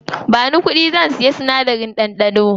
Bani kuɗi, zan siya sinadarin ɗanɗano.